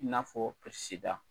I n'a fɔ sida .